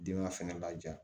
Den ma fɛnɛ laja